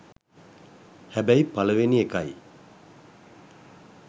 හැබැයි පළවෙනි එකයි